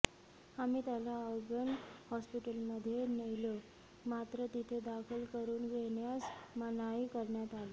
आम्ही त्याला अर्बन हॉस्पीटलमध्ये नेलं मात्र तिथे दाखल करून घेण्यास मनाई करण्यात आली